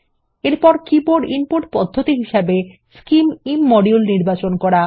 এরপর keyboard input পদ্ধতি হিসেবে scim ইমোডিউল নির্বাচন করুন